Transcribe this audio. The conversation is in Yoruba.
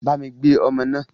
Bámi gbé ọmọ náà.